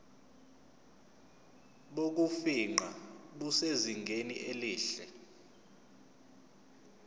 bokufingqa busezingeni elihle